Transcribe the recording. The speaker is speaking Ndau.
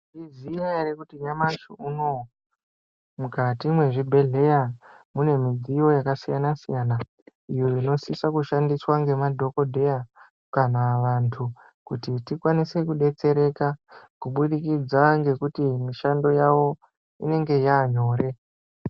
Maizviziya ere kuti nyamashi unouyu mukati mwezvibhedhleya mune midziyo yakasiyana-siyana. Iyo inosisa kushandiswa ngemadhogodheya kana vantu kuti tikwanise kubetsereka. Kubudikidza ngekuti mishando yavo inenge yanyore.